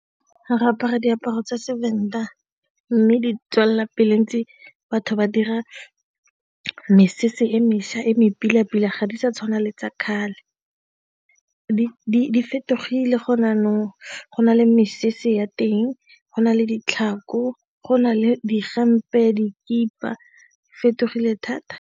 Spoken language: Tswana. Re apara diaparo tsa Sevenda mme di tswelelapele ntse batho ba dira mesese e mešwa e mare pila-pila ga di sa tshwana le tsa kgale, e fetogile gone jaanong go na le mesese ya teng go na le ditlhako go na le di fetogile thata.